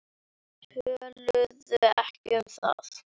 Töluðu ekki um það.